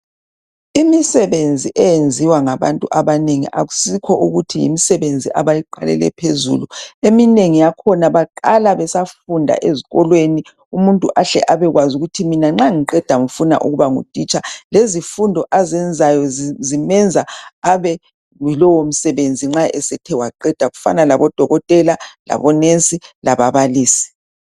Imisebenzi eyenziwa ngabantu abanengi akusikho ukuthi yimisebenzi abayi qhelele phezulu eminengi yakhona baqala besafunda ezikolweni umuntu ahle abekwazi ukuthi mina nxa ngiqeda ngifuna ukuba ngutitsha lezifunda azenzayo zimenza abe ngulowo msebenzi nxa esethe waqeda kufana labodokotela labonesi lababalisi